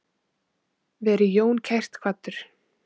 Veri Jón kært kvaddur.